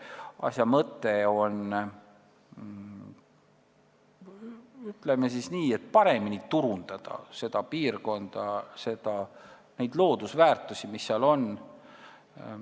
Asja mõte on, ütleme nii, paremini turundada seda piirkonda, neid loodusväärtusi, mis seal on.